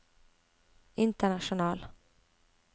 international